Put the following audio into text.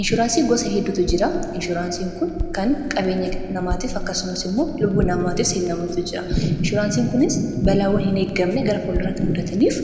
inshuraansii gosa heddutu jira inshuraansiin kun kan qabeenya namaatiif akkasumas immoo lubbuu namaatiifsahin namotu jira inshuraansiin kunis balaawwan hin eeggamne gara folloirratti mudataniif